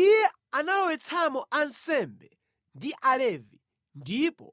Iye analowetsamo ansembe ndi Alevi ndipo